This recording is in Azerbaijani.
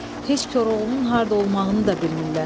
Heç Koroğlunun harda olmağını da bilmirlər.